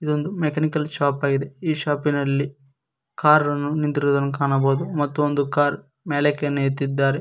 ಇದೊಂದು mechanical shop ಆಗಿದೆ ಈ ಶಾಪಿನಲ್ಲಿ ಕಾರ್ ಅನ್ನು ನಿಂತಿರುವುದನ್ನ ಕಾಣಬಹುದು ಮತ್ತು ಒಂದು ಕಾರಣ ಮೇಲಕ್ಕೆ ಅನ್ನು ಎತ್ತಿದ್ದಾರೆ.